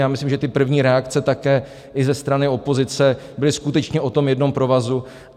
Já myslím, že ty první reakce také i ze strany opozice byly skutečně o tom jednom provazu.